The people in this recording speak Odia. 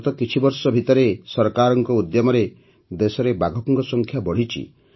ଗତ କିଛିବର୍ଷ ଭିତରେ ସରକାରଙ୍କ ଉଦ୍ୟମରେ ଦେଶରେ ବାଘଙ୍କ ସଂଖ୍ୟା ବଢ଼ିଛି